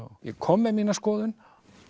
ég kom með mína skoðun